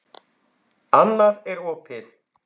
Annað er opið.